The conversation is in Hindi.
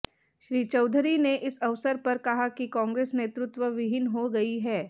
श्री चौधरी ने इस अवसर पर कहा कि कांग्रेस नेतृत्व विहीन हो गई है